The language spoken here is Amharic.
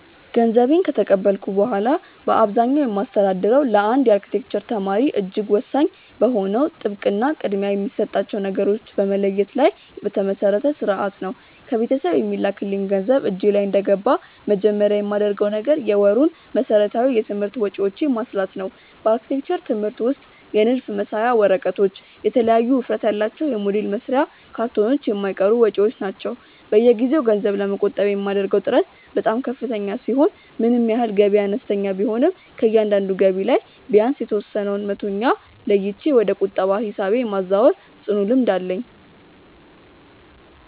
ገንዘቤን ከተቀበልኩ በኋላ በአብዛኛው የማስተዳድረው ለአንድ የአርክቴክቸር ተማሪ እጅግ ወሳኝ በሆነው ጥብቅ እና ቅድሚያ የሚሰጣቸውን ነገሮች በመለየት ላይ በተመሰረተ ሥርዓት ነው። ከቤተሰብ የሚላክልኝ ገንዘብ እጄ ላይ እንደገባ መጀመሪያ የማደርገው ነገር የወሩን መሠረታዊ የትምህርት ወጪዎቼን ማስላት ነው። በአርክቴክቸር ትምህርት ውስጥ የንድፍ መሳያ ወረቀቶች፣ የተለያዩ ውፍረት ያላቸው የሞዴል መስሪያ ካርቶኖች የማይቀሩ ወጪዎች ናቸው። በየጊዜው ገንዘብ ለመቆጠብ የማደርገው ጥረት በጣም ከፍተኛ ሲሆን ምንም ያህል ገቢዬ አነስተኛ ቢሆንም ከእያንዳንዱ ገቢ ላይ ቢያንስ የተወሰነውን መቶኛ ለይቼ ወደ ቁጠባ ሂሳቤ የማዛወር ጽኑ ልምድ አለኝ።